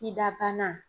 Sida bana